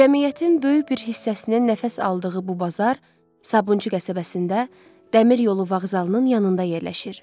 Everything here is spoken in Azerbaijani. Cəmiyyətin böyük bir hissəsinin nəfəs aldığı bu bazar Sabunçu qəsəbəsində, dəmir yolu vağzalının yanında yerləşir.